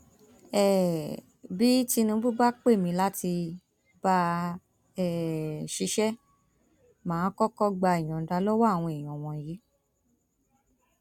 um bí tinúbù bá pè mí láti bá a um ṣiṣẹ má a kọkọ gba ìyọǹda lọwọ àwọn èèyàn wọnyí